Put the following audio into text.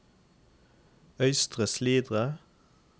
Øystre Slidre